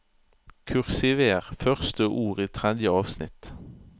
Kursiver første ord i tredje avsnitt